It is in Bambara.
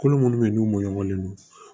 Kolo minnu bɛ yen n'u mɔɲɔgɔn